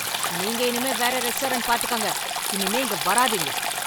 நீங்க இனிமே வேற ரெஸ்டாரண்ட் பாத்துக்கோங்க. இனிமே இங்க வராதீங்க